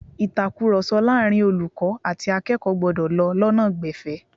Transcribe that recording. Ìtàkurọ̀sọ láàárín olùkọ́ àti akẹ́kọ̀ọ́ gbọ́dọ̀ lọ lọ́nà gbẹ̀fẹ̀